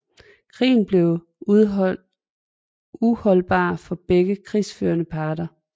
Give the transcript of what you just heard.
Krigen blev uholdbar for begge krigsførende parter